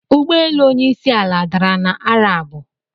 Ụgbọelu onyeisi ala adara n'Araabụ?